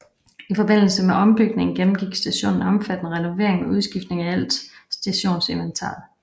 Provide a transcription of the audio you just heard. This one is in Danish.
I forbindelse med ombygningen gennemgik stationen en omfattende renovering med udskiftning af alt stationsinventaret